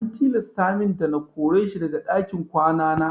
An tilasta min na kore shi daga ɗakin kwana na.